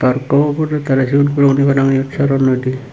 aro ekko podot age ciyot cigon guro guni para pang soronnoi di.